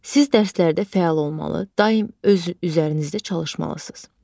Siz dərslərdə fəal olmalı, daim öz üzərinizdə çalışmalısınız.